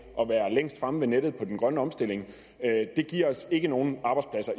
at være længst fremme ved nettet angår den grønne omstilling det giver os ikke nogen arbejdspladser